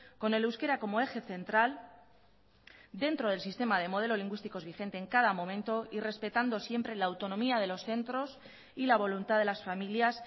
con el euskera como eje central dentro del sistema de modelo lingüísticos vigente en cada momento y respetando siempre la autonomía de los centros y la voluntad de las familias